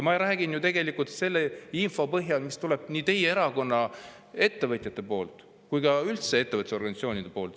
Ma räägin ju tegelikult selle info põhjal, mis tuleb nii teie erakonna ettevõtjatelt kui ka üldse ettevõtlusorganisatsioonidelt.